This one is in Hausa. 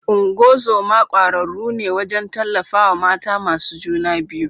Ungozoma kwararru ne wajen tallafawa mata masu juna biyu.